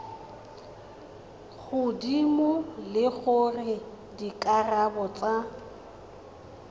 godimo le gore dikarabo tsa